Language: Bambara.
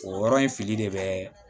O yɔrɔ in fili de bɛ